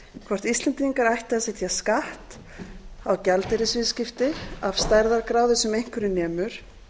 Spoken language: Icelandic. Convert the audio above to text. hvort íslendingar ættu að setja skatt á gjaldeyrisviðskipti af stærðargráðu sem einhverju nemur